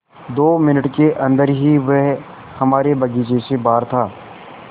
दो मिनट के अन्दर ही वह हमारे बगीचे से बाहर था